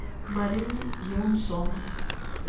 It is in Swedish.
Marie Johnsson